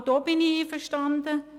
Auch damit bin ich einverstanden.